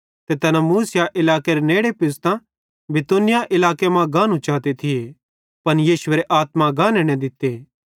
ते तैना मूसिया इलाकेरे नेड़े पुज़तां बितूनिया इलाके मां गानू चाते थिये पन यीशुएरे आत्मा गाने न दित्ते